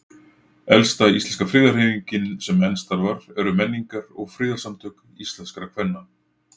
Elsta íslenska friðarhreyfingin sem enn starfar eru Menningar- og friðarsamtök íslenskra kvenna.